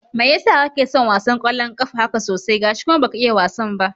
Mai yasa kake son wasan ƙwallon ƙafa haka sosai, gashi kuma baka iya wasan ba?